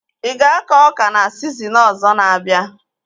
Ị ga-akọ ọka na sizinin ọzọ na-abịa?